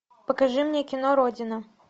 покажи мне кино родина